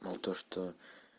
но то что